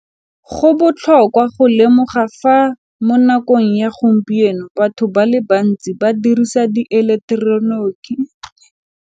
Go botlhokwa go lemoga fa mo nakong ya gompieno batho ba le bantsi ba dirisa dieleketeroniki.